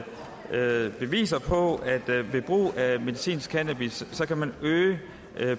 hvad i det beviser på at man ved brug af medicinsk cannabis kan øge